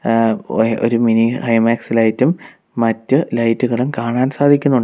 ആ ഒ ഒരു മിനി ഹൈ മാസ്റ്റ് ലൈറ്റും മറ്റ് ലൈറ്റുകളും കാണാൻ സാധിക്കുന്നുണ്ട്.